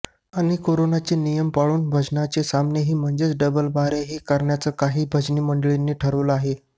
आणि करोनाचे नियम पाळून भजनांचे सामनेही म्हणजे डबलबाऱ्याही करण्याचं काही भजनी मंडळांनी ठरवलं आहे